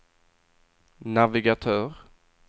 navigatör